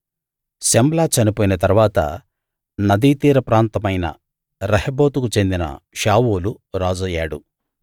శమ్లా చనిపోయిన తరువాత నదీతీర ప్రాంతమైన రహెబోతుకు చెందిన షావూలు రాజయ్యాడు